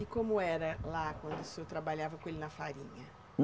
E como era lá, quando o senhor trabalhava com ele na farinha?